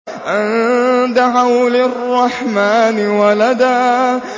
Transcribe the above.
أَن دَعَوْا لِلرَّحْمَٰنِ وَلَدًا